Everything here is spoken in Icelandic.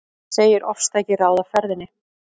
Segir ofstæki ráða ferðinni